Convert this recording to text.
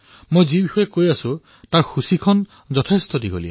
মই যিবোৰ কথা কলো তাৰে সূচী অনেক দীঘল